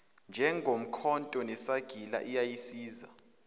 njengomkhonto nesagila iyayisiza